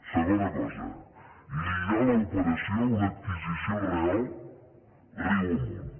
segona cosa lligar l’operació a una adquisició real riu amunt